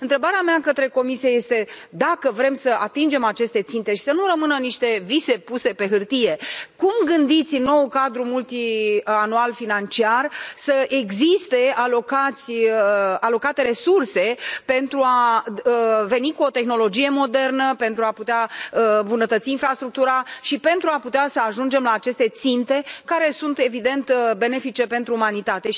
Întrebarea mea către Comisie este dacă vrem să atingem aceste ținte și să nu rămână niște vise puse pe hârtie, cum gândiți în noul cadru financiar multianual să existe alocate resurse pentru a veni cu o tehnologie modernă, pentru a putea îmbunătăți infrastructura și pentru a putea să ajungem la aceste ținte care sunt, evident, benefice pentru umanitate?